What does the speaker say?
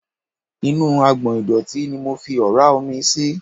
Inú agbọ̀n ìdọ̀tí ni mo fi ọ̀ra omi sí.